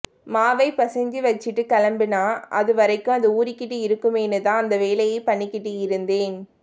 மாவைப் பிசைஞ்சு வெச்சுட்டுக் கெளம்பினா அது வரைக்கும் அது ஊறிக்கிட்டு இருக்குமேன்னுதான் அந்த வேலையைப் பண்ணிக்கிட்டு இருந்தேன்